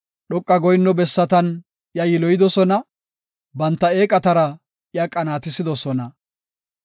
Dhoqa goyinno bessatan iya yiloyidosona; banta eeqatara iya qanaatisidosona.